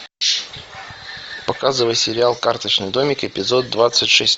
показывай сериал карточный домик эпизод двадцать шесть